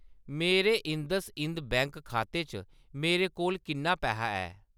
मेरे IndusInd bank खाते च मेरे कोल किन्ना पैहा ऐ ?